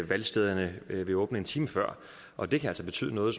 valgstederne vil åbne en time før og det kan altså betyde noget